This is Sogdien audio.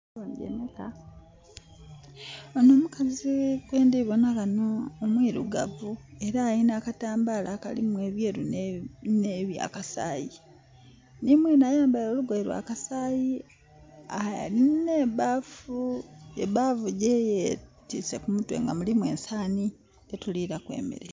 Ono mukazi gwendhi bona ghano omwirugavu era alina akatambala akalimu ebyeru ne byakaasayi. Nhi mwenhe ayambaile olugoye lwa kasayi, ne bbafu gye yetiise ku mutwe nga mulimu ensaani dhe tulilaku emere.